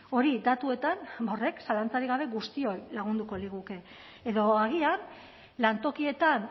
hori datuetan ba horrek zalantzarik gabe guztioi lagunduko liguke edo agian lantokietan